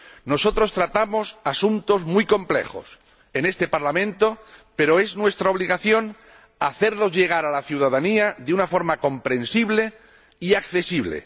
Nosotros tratamos asuntos muy complejos en este Parlamento, pero es nuestra obligación hacerlos llegar a la ciudadanía de una forma comprensible y accesible.